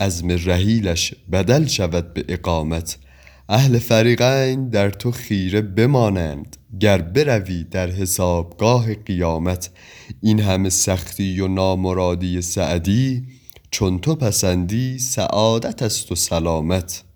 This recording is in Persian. عزم رحیلش بدل شود به اقامت اهل فریقین در تو خیره بمانند گر بروی در حسابگاه قیامت این همه سختی و نامرادی سعدی چون تو پسندی سعادت است و سلامت